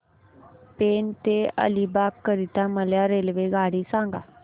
पेण ते अलिबाग करीता मला रेल्वेगाडी सांगा